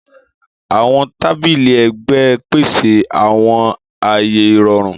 Àwọn tabili ẹgbẹ n pese awọn aaye irọrun.